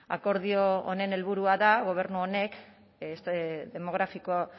akordio honen helburua da gobernu honek este demográfico